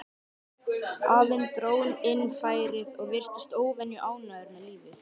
Afinn dró inn færið og virtist óvenju ánægður með lífið.